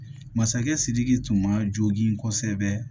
Masakɛ sidiki tun ma jogin kosɛbɛ